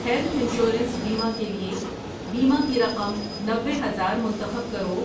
Health insurance بیمہ کے لیے بیمہ کی رقم نوے ہزار منتخب کرو۔